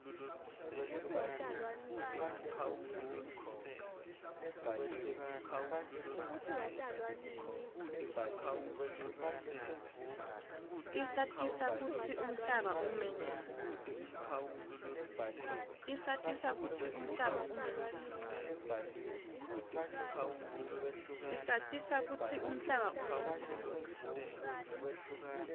tisatisa kutsi umhlaba ume njani